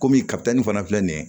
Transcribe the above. Komi kapitali in fana filɛ nin ye